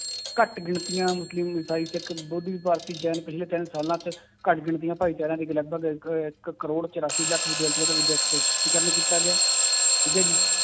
ਘੱਟ ਗਿਣਤੀਆਂ ਮੁਸਲਿਮ ਇਸਾਈ ਸਿੱਖ, ਬੋਧੀ, ਭਾਰਤੀ ਜੈਨ ਪਿੱਛਲੇ ਤਿੰਨ ਸਾਲਾਂ 'ਚ ਘੱਟ ਗਿਣਤੀਆਂ ਭਾਏਚਾਰਿਆਂ ਲਗਪਗ ਇੱਕ, ਇੱਕ ਕਰੋੜ ਚੁਰਾਸੀ ਲੱਖ ਕੀਤਾ ਗਿਆ ਠੀਕ ਹੈ ਜੀ